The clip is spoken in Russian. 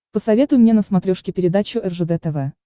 посоветуй мне на смотрешке передачу ржд тв